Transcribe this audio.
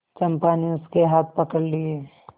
चंपा ने उसके हाथ पकड़ लिए